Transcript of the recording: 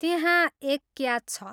त्यहाँ एक क्याच छ।